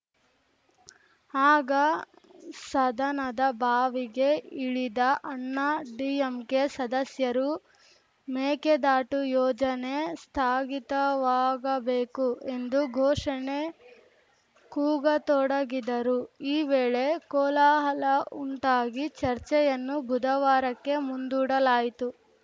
ಆಗ ಸದನದ ಬಾವಿಗೆ ಇಳಿದ ಅಣ್ಣಾ ಡಿಎಂಕೆ ಸದಸ್ಯರು ಮೇಕೆದಾಟು ಯೋಜನೆ ಸ್ಥಾಗಿತವಾಗಬೇಕು ಎಂದು ಘೋಷಣೆ ಕೂಗತೊಡಗಿದರು ಈ ವೇಳೆ ಕೋಲಾಹಲ ಉಂಟಾಗಿ ಚರ್ಚೆಯನ್ನು ಬುಧವಾರಕ್ಕೆ ಮುಂದೂಡಲಾಯಿತು